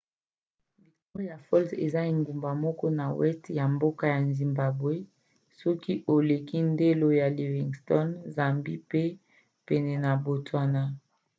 victoria falls eza engumba moko na weste ya mboka zimbabwe soki oleki ndelo ya livingstone zambie pe pene ya botswana